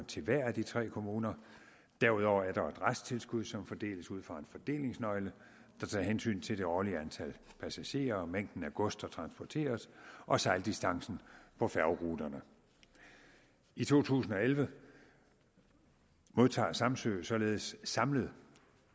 til hver af de tre kommuner derudover er der et resttilskud som fordeles ud fra en fordelingsnøgle der tager hensyn til det årlige antal passagerer og mængden af gods der transporteres og sejldistancen på færgeruterne i to tusind og elleve modtager samsø således samlet